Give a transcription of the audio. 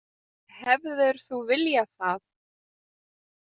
Hefðir þú viljað það?